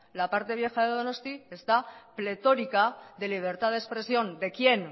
la parte vieja de donosti está pletórica de libertad de expresión de quién